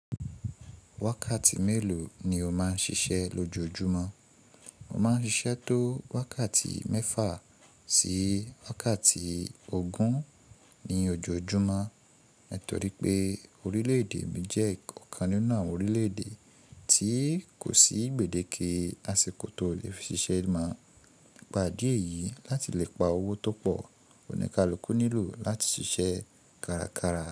Wákàtí mélòó ni o máa ń ṣiṣẹ́ lójoojúmọ́? Mo máa ń ṣiṣẹ́ tó wákàtí mẹ́fà sí wákàtí ogún ní ojoojúmọ́. Nítorí pé orílẹ̀-èdè mi jẹ́ ọ̀kan nínú àwọn orílẹ̀-èdè tí kò sí gbèdéke àsìkò tó lè ṣiṣẹ́ máa ń gbá idi èyí láti lè pa owó tó pọ̀, kò ní kí alokó nílò láti ṣiṣẹ́ kárakára.